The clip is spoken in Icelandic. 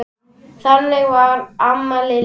Þannig var amma Lillý.